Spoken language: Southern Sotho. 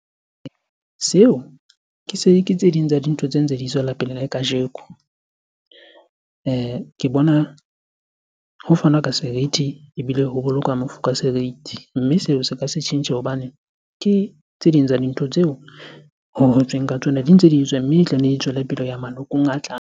Seo ke se, ke tse ding tsa dintho tse ntse di tswela pele le kajeko. Ke bona ho fanwa ka seriti ebile ho bolokwa mofu serithi. Mme seo se ka se tjhentjhe hobane ke tse ding tsa dintho tseo ho hotsweng ka tsona di ntse di etswa, mme e tla nne e tswele pelo malokong a tlang.